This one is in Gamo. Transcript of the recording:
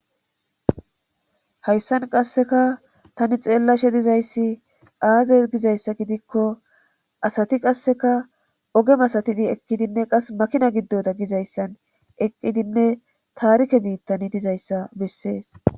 hayssan qasseka tani xeellashe dizayssi aaze gizayssa gidikko asati qasseka oge masatidi ekkidinne qas makina giddoda gizayssan eqqidinne taarike biittani dizayssa bessees